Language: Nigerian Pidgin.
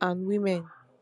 and women